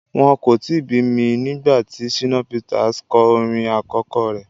Wọ́n kò tíì bí mi nígbà tí Shina Peters kọ orin àkọ́kọ́ rẹ.